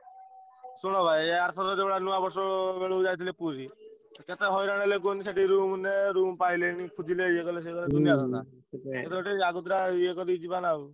ଶୁଣ ଭାଇ ଆରଥର ଯୋଉ ଭଳିଆ ନୂଆବର୍ଷ ବେଳକୁ ଯାଇଥିଲେ ପୁରୀ କେତେ ହଇରାଣ ହେଲେ କୁହନି ସେଠି room ନେ room ପାଇଲେନି ଖୋଜିଲେ ଇଏ କଲେ ସିଏ କଲେ ଏଥର ଟିକେ ଆଗତରା ଇଏ କରି ଯିବା ନା ଆଉ।